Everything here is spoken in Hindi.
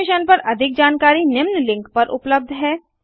इस मिशन पर अधिक जानकारी निम्न लिंक पर उपलब्ध है